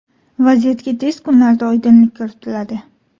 Vaziyatga tez kunlarda oydinlik kiritiladi.